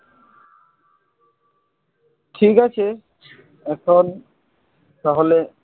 ঠিক আছে এখন তাহলে,